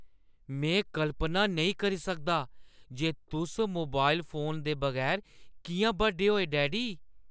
में कल्पना नेईं करी सकदा जे तुस मोबाइल फोन दे बगैर किʼयां बड्डे होए, डैडी?